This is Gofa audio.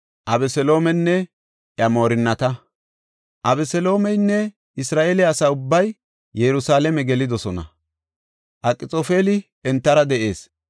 Abeseloomeynne Isra7eele asa ubbay Yerusalaame gelidosona; Akxoofeli entara de7ees.